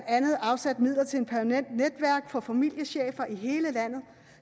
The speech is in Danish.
andet afsat midler til et permanent netværk for familiechefer i hele landet